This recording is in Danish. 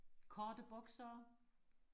korte bukser